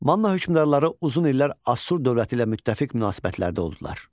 Manna hökmdarları uzun illər Asur dövləti ilə müttəfiq münasibətlərdə oldular.